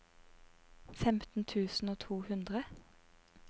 femten tusen og to hundre